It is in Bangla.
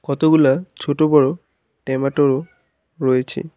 কতগুলা ছোট বড় ট্যামেটো রয়েচে।